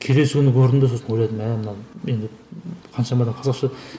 келесі күні көрдім де сосын ойладым мә мынаны мен қаншама да қазақша